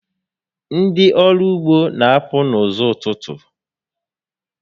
Ndị ọrụ ugbo n'apụ n'ụzọ ụtụtụ